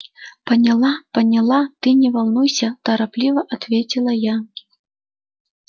поняла поняла ты не волнуйся торопливо ответила я